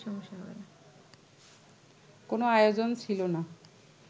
কোনো আয়োজন ছিল না